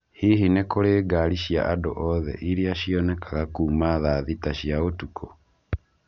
Hihi nĩ kũrĩ ngari cia andũ othe iria cĩonekanga kuuma thaa thita cia ũtukũ?